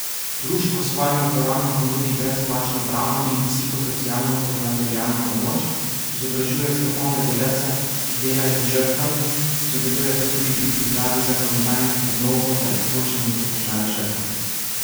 Društvo svojim uporabnikom nudi brezplačno pravno in psihosocialno ter materialno pomoč, izobražuje strokovne delavce, ki delajo z žrtvami, sodeluje pa tudi pri pripravi zakonodajnih predlogov za izboljšanje položaja žrtev.